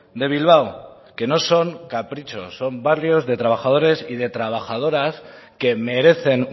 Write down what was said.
de bilbao que no son caprichos son barrios de trabajadores y de trabajadoras que merecen